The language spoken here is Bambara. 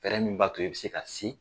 Fɛɛrɛ min b'a to i bɛ se ka se.